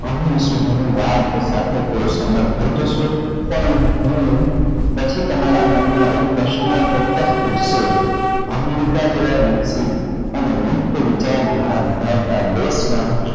વાળ થતા તે સમર્થ થઇ જશે ત્યારે હું પછી તમારા મન માં એક પ્રશ્ન ચોકસ સુજ્સે america જેવા વિકસિત અને વ્યક્ત વિચાર ધારા ધરાવતા દેશ માં